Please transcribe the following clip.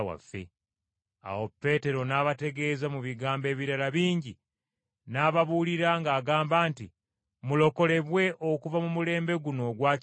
Awo Peetero n’abategeeza mu bigambo ebirala bingi n’ababuulira ng’agamba nti mulokolebwe okuva mu mulembe guno ogwakyama.